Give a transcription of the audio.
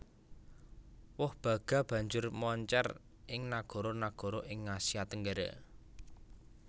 Woh baga banjur moncér ing nagara nagara ing Asia Tenggara